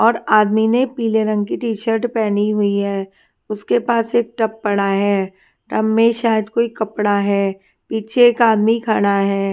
और आदमी ने पीले रंग की टी शर्ट पहनी हुई है उसके पास एक टब पड़ा है टब में शायद कोई कपड़ा है पीछे एक आदमी खड़ा है।